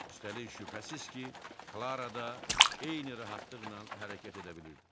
Üstəlik, şübhəsiz ki, Klara da eyni rahatlıqla hərəkət edə bilirdi.